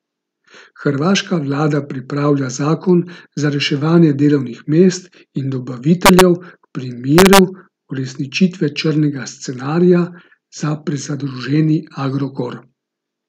Hrvaška vlada pripravlja zakon za reševanje delovnih mest in dobaviteljev v primeru uresničitve črnega scenarija za prezadolženi Agrokor.